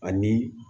Ani